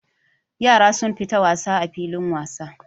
Yara sun fita wasa a filin wasa.